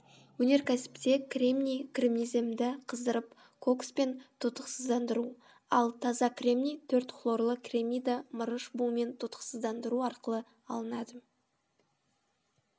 өнеркәсіпте кремний кремнеземді қыздырып кокспен тотықсыздандыру ал таза кремний төрт хлорлы кремнийді мырыш буымен тотықсыздандыру арқылы алынады